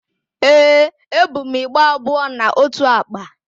Ee, ebu m igbe abụọ na ótù àkpà.